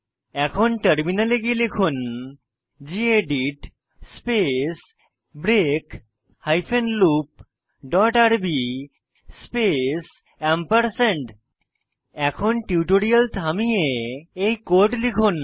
এখন টার্মিনালে গিয়ে লিখুন gedit space break hyphen loop dot RB space এখন টিউটোরিয়াল থামিয়ে এই কোড লিখুন